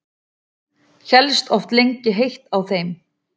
Hélst oft lengi heitt á þeim.